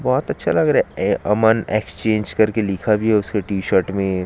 बोहत अच्छा लग रहै ए अमन एक्सचेंज कर के लिखा भी है उसके टीशर्ट में--